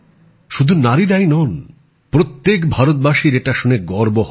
শুধুমাত্র নারীরাই নন প্রত্যেক ভারতবাসীর এটা শুনে গর্ব হবে